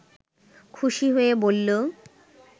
খুশি হয়ে বলল